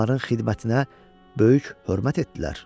Onların xidmətinə böyük hörmət etdilər.